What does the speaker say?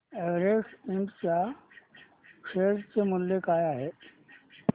Everest इंड च्या share चे मूल्य काय आहे